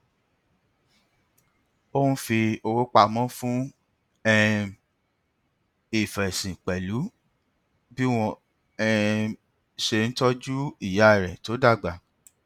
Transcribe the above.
ó n fi owó pamọ fún um ìfẹsìn pẹlú bí wọn um ṣe ń tọju ìyá rẹ tó dàgbà